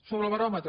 sobre el baròmetre